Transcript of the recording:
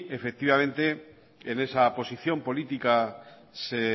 efectivamente en esa posición política se